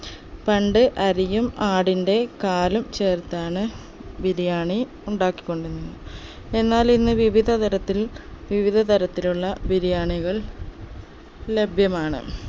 പണ്ട് അരിയും ആടിന്റെ കാലും ചേർത്താണ് ബിരിയാണി ഉണ്ടാക്കി കൊണ്ടിരുന്നത് എന്നാൽ ഇന്ന് വിവിധ തരത്തിൽ വിവിധ തരത്തിലുള്ള ബിരിയാണികൾ ലഭ്യമാണ്